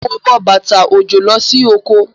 Mo wọ bàtà òjò lọ sí oko.